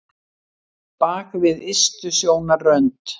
Bak við ystu sjónarrönd